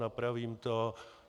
Napravím to.